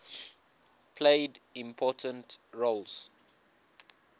played important roles